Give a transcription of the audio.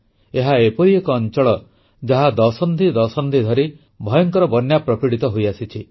ଏହା ଏପରି ଏକ ଅଂଚଳ ଯାହା ଦଶନ୍ଧିଦଶନ୍ଧି ଧରି ଭୟଙ୍କର ବନ୍ୟା ପ୍ରପୀଡ଼ିତ ହୋଇଆସିଛି